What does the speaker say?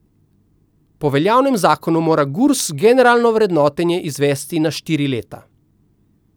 Po veljavnem zakonu mora Gurs generalno vrednotenje izvesti na štiri leta.